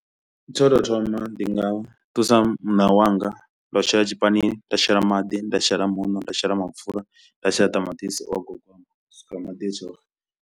Tsho tou thoma ndi nga thusa munna wanga nda shela tshipanini, nda shela maḓi nda shela muṋo, nda shela mapfura, nda shela ṱamaṱisi u swikela maḓi a tshi yo xa.